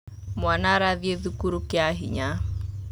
Mwana arathĩ thukuru kĩa hinya.